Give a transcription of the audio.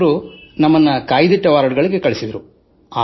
ಅವರು ನಮ್ಮನ್ನು ಮೀಸಲಿಟ್ಟ ವಾರ್ಡ್ ಗಳಿಗೆ ವರ್ಗಾಯಿಸಿದರು